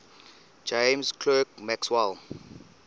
james clerk maxwell